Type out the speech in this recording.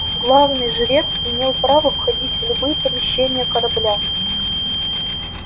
главный жрец имел право входить в любые помещения корабля